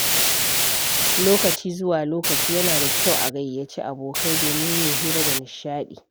Lokaci zuwa lokaci, yana da kyau a gayyaci abokai domin yin hira da nishaɗi.